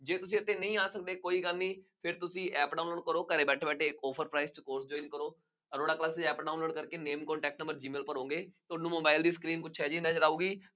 ਜੇ ਤੁਸੀਂ ਇੱਥੇ ਨਹੀਂ ਆ ਸਕਦੇ, ਕੋਈ ਗੱਲ ਨਹੀਂ, ਫੇਰ ਤੁਸੀਂ app download ਕਰੋ, ਘਰੇ ਬੈਠੇ ਬੈਠੇ offer price ਕਰੋ, ਅਰੋੜਾ classes ਦੀ app download ਕਰਕੇ name code text ਮਰਜ਼ੀ ਹੈ ਭਰੋਗੇ, ਤੁਹਾਨੂੰ ਮੋਬਾਇਲ ਦੀ ਸਕਰੀਨ ਕੁੱਝ ਇਹੋ ਜਿਹੀ ਨਜ਼ਰ ਆਊਗੀ।